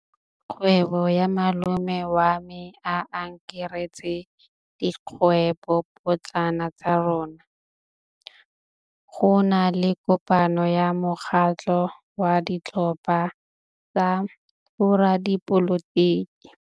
Kgwêbô ya malome wa me e akaretsa dikgwêbôpotlana tsa rona. Go na le kopanô ya mokgatlhô wa ditlhopha tsa boradipolotiki.